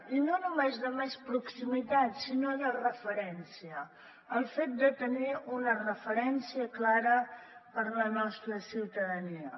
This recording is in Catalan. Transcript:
i no només de més proximitat sinó de referència el fet de tenir una referència clara per a la nostra ciutadania